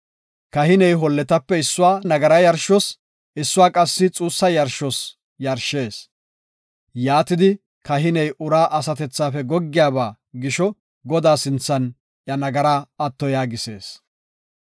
Kahiney holletape issuwa nagara yarshos, issuwa qassi xuussa yarshos yarshees; yaatidi kahiney uraa asatethafe goggiyaba gisho Godaa sinthan iya nagaraa atto yaagisees.